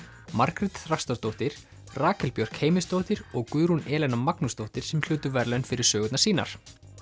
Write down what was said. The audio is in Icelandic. Margrét Þrastardóttir Rakel Björk Heimisdóttir og Guðrún Magnúsdóttir sem hlutu verðlaun fyrir sögunar sínar